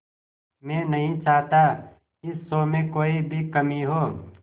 मैं नहीं चाहता इस शो में कोई भी कमी हो